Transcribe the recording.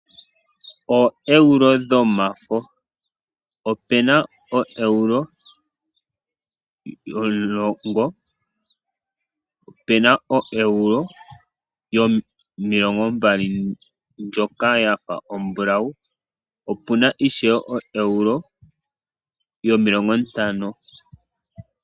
OoEuro dhomafo, opu na oEuro yomulongo, opu na oEuro yomilongo mbali ndjoka ya fa ombulawu opu na ishewe oEuro yomilongo ntano.